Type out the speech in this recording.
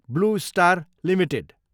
blue Star Ltd